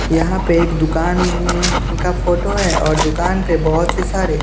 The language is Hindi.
यहां पे एक दुकान का फोटो है और दुकान पे बहोत ही सारे--